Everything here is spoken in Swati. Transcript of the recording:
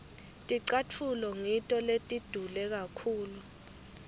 ticatfulo ngito letidule kakhulu